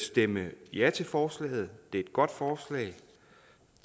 stemme ja til forslaget det er et godt forslag